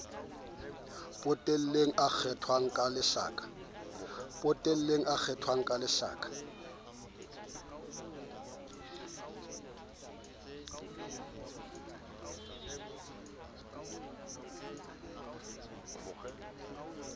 potele e kgwathwang ka lehlaka